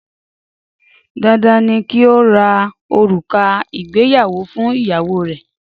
Dandan ni kí o ra òrùka ìgbéyàwó fún ìyàwó rẹ!